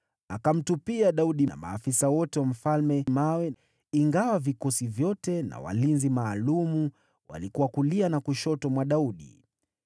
Akamtupia Daudi na maafisa wote wa mfalme mawe, ingawa vikosi vyote na walinzi maalum walikuwa kulia na kushoto mwa Daudi.